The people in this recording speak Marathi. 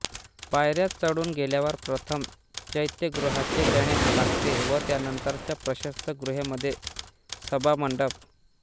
पायऱ्या चढून गेल्यावर प्रथम चैत्यगृहाचे लेणे लागते व त्यानंतरच्या प्रशस्त गुहेमध्ये सभामंडप